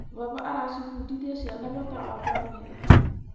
Baba aracibundithia ciana bata wa bamĩrĩ.